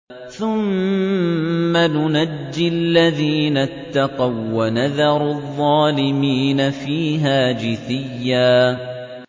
ثُمَّ نُنَجِّي الَّذِينَ اتَّقَوا وَّنَذَرُ الظَّالِمِينَ فِيهَا جِثِيًّا